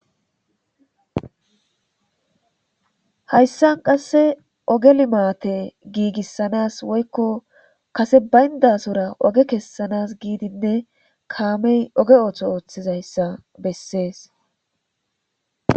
Hayssan qasse ogge limatte gigisanas woykko kase baynasora ogge kesanas gidinne kaamey ogge otho othizayssa besses.